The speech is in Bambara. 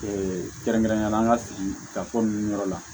kɛrɛnkɛrɛnnenya la an ka sigi ka fɔ ninnu yɔrɔ la